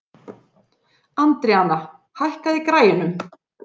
Andríana, hækkaðu í græjunum.